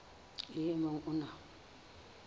le o mong o na